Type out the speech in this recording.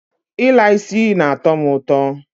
I la isi na-ato mu uto.